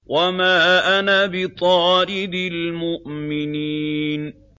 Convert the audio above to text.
وَمَا أَنَا بِطَارِدِ الْمُؤْمِنِينَ